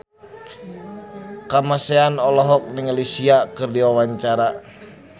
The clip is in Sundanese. Kamasean olohok ningali Sia keur diwawancara